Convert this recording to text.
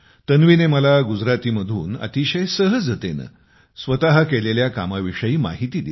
तन्वीने मला गुजरातीमधून अतिशय सहजतेने स्वतः केलेल्या कामाविषयी माहिती दिली